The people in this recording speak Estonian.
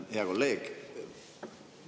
Hea kolleeg!